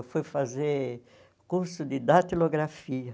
Eu fui fazer curso de datilografia.